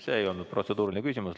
See ei olnud protseduuriline küsimus.